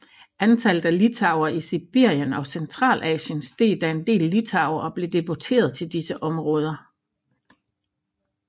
Antallet af litauere i Sibirien og Centralasien steg da en del litauere blev deporteret til disse områder